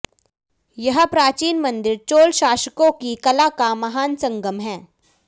यह प्राचीन मंदिर चोल शासकों की कला का महान संगम है